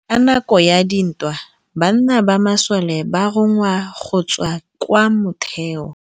Ka nakô ya dintwa banna ba masole ba rongwa go tswa kwa mothêô.